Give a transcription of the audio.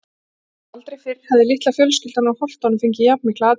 Aldrei fyrr hafði litla fjölskyldan úr Holtunum fengið jafn mikla athygli.